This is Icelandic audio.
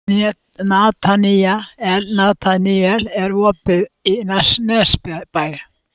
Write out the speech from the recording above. Nataníel, er opið í Nesbæ?